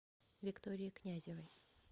виктории князевой